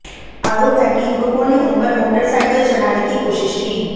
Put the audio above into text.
आरोप है कि युवकों ने उन पर मोटरसाइकिल चढ़ाने की कोशिश की